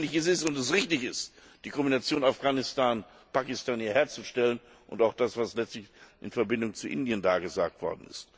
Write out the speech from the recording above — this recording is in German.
So notwendig es ist und so richtig es ist, die Kombination Afghanistan Pakistan hier herzustellen, und auch das, was letztlich in Verbindung mit Indien da gesagt wurde.